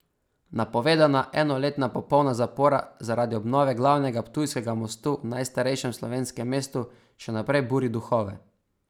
Napovedana enoletna popolna zapora zaradi obnove glavnega ptujskega mostu v najstarejšem slovenskem mestu še naprej buri duhove.